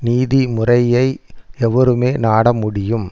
நீதி முறையை எவருமே நாட முடியும்